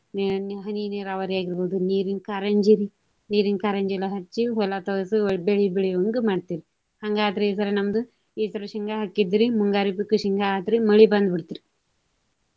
ನೆನೆ ಹನಿ ನೀರಾವರಿ ಆಗಿರ್ಬಹುದು, ನೀರಿನ ಕಾರಂಜಿರಿ, ನೀರಿನ ಕಾರಂಜಿ ಎಲ್ಲಾ ಹಚ್ಚಿ ಹೊಲ ತೊಯಸಿ ಬೆಳಿ ಬೆಳಿವಂಗ ಮಾಡ್ತೇವ್ರಿ. ಹಂಗಾದ್ರ ಈ ಸರಾ ನಮ್ದು ಈ ಸರಾ ಶೇಂಗಾ ಹಾಕಿದ್ರ ಮುಂಗಾರಿ ಶೇಂಗಾ ಆತ್ರಿ. ಮಳಿ ಬಂದ ಬಿಡ್ತ್ರಿ.